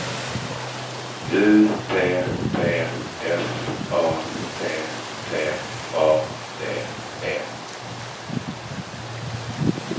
U P P F A T T A D E